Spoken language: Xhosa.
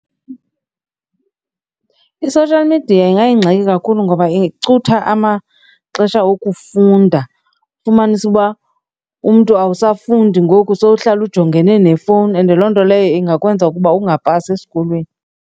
I-social media ingayingxaki kakhulu ngoba icutha amaxesha okufunda, ufumanise uba umntu awusafundi ngoku sowuhlala ujongene nefowuni and loo nto leyo ingakwenza ukuba ungapasi esikolweni.